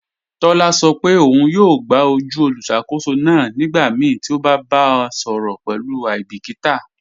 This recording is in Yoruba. Tọla sọ pe ọ̀un yọọ gbà ojú olùṣakòsó náà nígbàmíí ti o bá bá a sọrọ pẹ̀lú aibikíta.